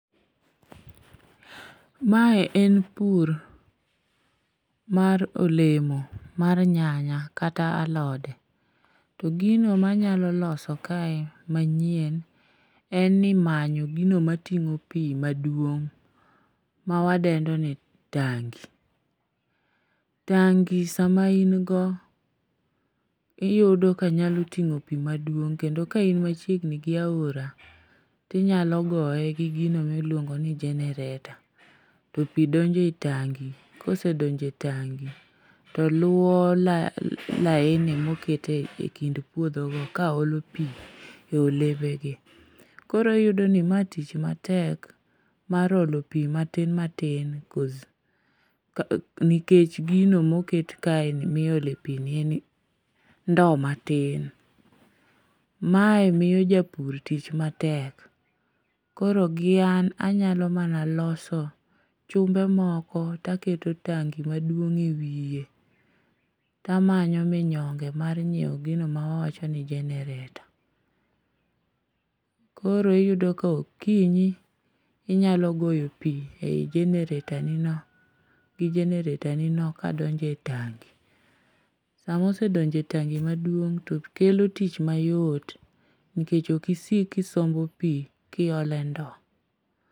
Mae en pur mar olemo mar nyanya kata alode to gino manyalo loso kae manyien en ni manyo gino mating'o pi maduong' mawadendo ni tangi. Tangi sama in go, iyudo ka nyalo ting'o pi maduong' kendo ka in machiegni gi aora tinyalo goye gi gino miluongo ni generator, to pi donje tangi, kosedonje tangi to luwo laini moket e kind puodhogo kaolo pi e olembegi, koro iyudoni ma tich matek mar olo pi matin tin nikech gino moket kaeni miole pi ni en ndowo matin. Mae miyo japur tich matek, koro gi an anyalo mana loso chumbe moko taketo tangi maduong' e wiye tamanyo minyonge mar nyiewo gino ma wawacho ni generator. Koro iyudo kokinyi inyalo goyo pi generator ni no kadonjo e tangi, samosedonjo e tangi maduong' to kelo tich mayot nikech ok isik kisombo pi kiole ndo.